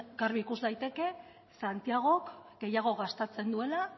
garbi ikus daiteke santiagok gehiago gastatzen duela